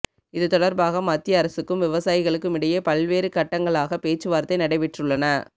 இது தொடர்பாக மத்திய அரசுக்கும் விவசாயிகளுக்கும் இடையே பல்வேறு கட்டங்களாகப் பேச்சுவார்த்தை நடைபெற்றுள்ளன